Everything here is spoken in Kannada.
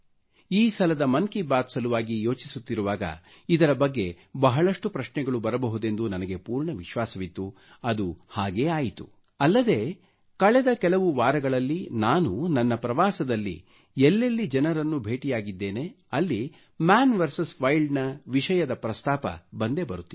ಈ ಸಲದ ಮನ್ ಕಿ ಬಾತ್ ಸಲುವಾಗಿ ಯೋಚಿಸುತ್ತಿರುವಾಗ ಇದರ ಬಗ್ಗೆ ಬಹಳಷ್ಟು ಪ್ರಶ್ನೆಗಳು ಬರಬಹುದೆಂದು ನನಗೆ ಪೂರ್ಣ ವಿಶ್ವಾಸವಿತ್ತು ಅದು ಹಾಗೇ ಆಯಿತು ಅಲ್ಲದೆ ಕಳೆದ ಕೆಲವು ವಾರಗಳಲ್ಲಿ ನಾನು ನನ್ನ ಪ್ರವಾಸದಲ್ಲಿ ಎಲ್ಲೆಲ್ಲಿ ಜನರನ್ನು ಭೆಟಿಯಾಗಿದ್ದೇನೆ ಅಲ್ಲಿ ಮನ್ ವಿಎಸ್ ವೈಲ್ಡ್ ನ ವಿಷಯ ಪ್ರಸ್ತಾಪ ಬಂದೇ ಬರುತ್ತಿದೆ